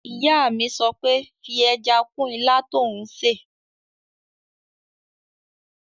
Ìyá mi sọ pé 'fi ẹja kún ilá tó n ṣè!